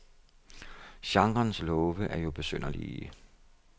Genrens love er jo besynderlige.